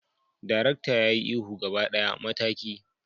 darakta ya yi ihu gaba daya, mataki!